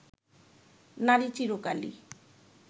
নারী চিরকালই